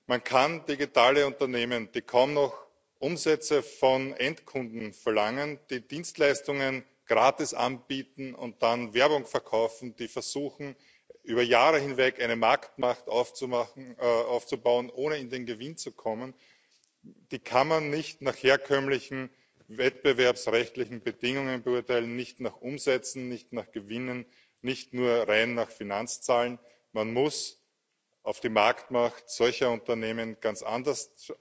Man kann digitale Unternehmen, die kaum noch Umsätze von Endkunden verlangen, die Dienstleistungen gratis anbieten und dann Werbung verkaufen, die versuchen, über Jahre hinweg eine Marktmacht aufzubauen, ohne in den Gewinn zu kommen, nicht nach herkömmlichen wettbewerbsrechtlichen Bedingungen beurteilen, nicht nach Umsätzen, nicht nach Gewinnen, nicht nur rein nach Finanzzahlen. Man muss auf die Marktmacht solcher Unternehmen ganz anders